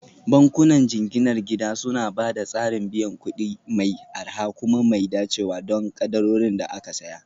Bankunan jinginar gida suna ba da tsarin biyan kuɗi mai arha kuma mai dacewa don kadarorin da aka saya